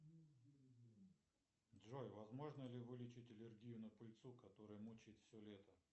джой возможно ли вылечить аллергию на пыльцу которая мучает все лето